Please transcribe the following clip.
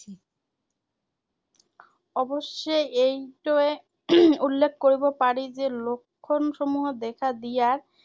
অৱশ্যে এইটোৱে উল্লেখ কৰিব পাৰি যে, লক্ষণসমূহৰ দেখা দিয়াৰ